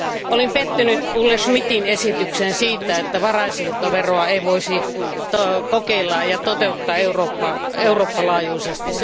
Olin pettynyt Olle Schmidtin esitykseen siitä, että varainsiirtoveroa ei voisi kokeilla ja toteuttaa Euroopan laajuisesti.